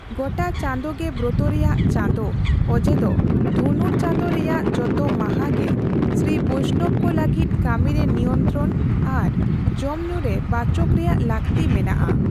ᱜᱚᱴᱟ ᱪᱟᱸᱫᱳ ᱜᱮ ᱵᱨᱚᱛᱚ ᱨᱮᱭᱟᱜ ᱪᱟᱸᱫᱳ ᱚᱡᱮ ᱫᱚ ᱫᱷᱚᱱᱩᱨ ᱪᱟᱸᱫᱳ ᱨᱮᱭᱟᱜ ᱡᱚᱛᱚ ᱢᱟᱦᱟ ᱜᱮ ᱥᱨᱤ ᱵᱳᱭᱥᱱᱚᱵᱽ ᱠᱚ ᱞᱟᱹᱜᱤᱫ ᱠᱟᱹᱢᱤ ᱨᱮ ᱱᱤᱭᱚᱱᱛᱨᱚᱱ ᱟᱨ ᱡᱚᱢ ᱧᱩ ᱨᱮ ᱵᱟᱪᱚᱠ ᱨᱮᱭᱟᱜ ᱞᱟᱹᱠᱛᱤ ᱢᱮᱱᱟᱜᱼᱟ ᱾